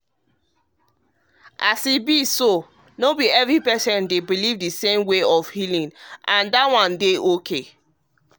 as e be no be every patient dey believe the same way for healing and e dey okay like that.